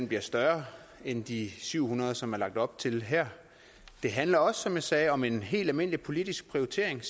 bliver større end de syv hundrede som der er lagt op til her det handler som jeg sagde også om en helt almindelig politisk prioritering